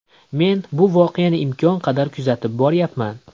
Men bu voqeani imkon qadar kuzatib boryapman.